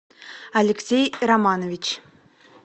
алексей романович